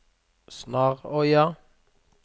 Snarøya